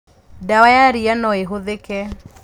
Ndawa ya ria noĩhũthĩke.